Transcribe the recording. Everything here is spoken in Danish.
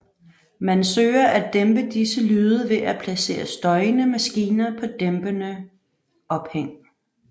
Man søger at dæmpe disse lyde ved at placere støjende maskiner på dæmpede ophæng